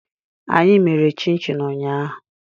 Anyị mèrè chin-chin ụñyahu